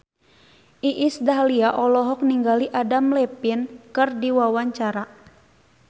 Iis Dahlia olohok ningali Adam Levine keur diwawancara